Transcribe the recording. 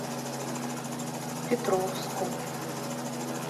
петровску